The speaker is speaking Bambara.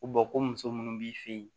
Ko ko muso munnu b'i fɛ yen